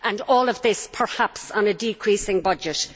All of this, perhaps, on a decreasing budget.